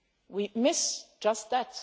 We miss just that.